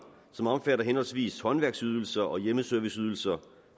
som omfatter henholdsvis håndværksydelser og hjemmeserviceydelser